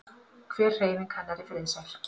Hver hreyfing hennar er friðsæl.